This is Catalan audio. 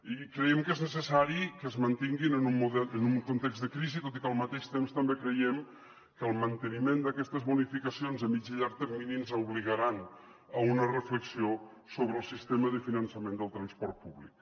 i creiem que és necessari que es mantinguin en un context de crisi tot i que al mateix temps també creiem que el manteniment d’aquestes bonificacions a mitjà i llarg termini ens obligaran a una reflexió sobre el sistema de finançament del transport públic